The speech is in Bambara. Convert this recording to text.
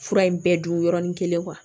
Fura in bɛɛ dun yɔrɔnin kelen wa